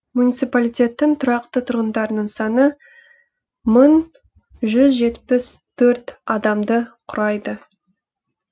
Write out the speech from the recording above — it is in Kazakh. муниципалитеттің тұрақты тұрғындарының саны мың жүз жетпіс төрт адамды құрайды